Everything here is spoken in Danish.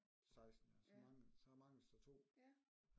16 ja så mangler så mangles der 2